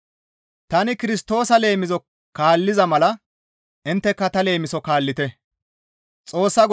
Tani Kirstoosa leemiso kaalliza mala intteka ta leemiso kaallite.